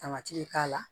Tamati be k'a la